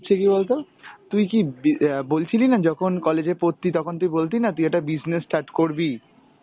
হচ্ছে কী বলতো? তুই কী বি~ অ্যাঁ বলছিলি না যখন college এ পড়তি তখন তুই বলতি না তুই একটা business start করবি.